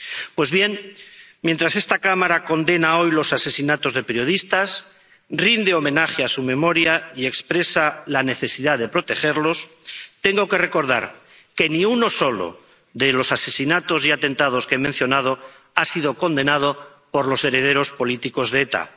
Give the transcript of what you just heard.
Pues bien, mientras esta Cámara condena hoy los asesinatos de periodistas, rinde homenaje a su memoria y expresa la necesidad de protegerlos, tengo que recordar que ni uno solo de los asesinatos y atentados que he mencionado ha sido condenado por los herederos políticos de ETA.